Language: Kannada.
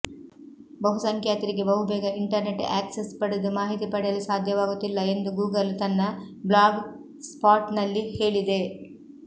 ಬಹುಸಂಖ್ಯಾತರಿಗೆ ಬಹುಬೇಗ ಇಂಟರ್ನೆಟ್ ಆಕ್ಸೆಸ್ ಪಡೆದು ಮಾಹಿತಿ ಪಡೆಯಲು ಸಾಧ್ಯವಾಗುತ್ತಿಲ್ಲ ಎಂದು ಗೂಗಲ್ ತನ್ನ ಬ್ಲಾಗ್ ಸ್ಪಾಟ್ನಲ್ಲಿ ಹೇಳಿದೆ